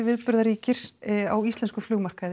viðburðaríkir á íslenskum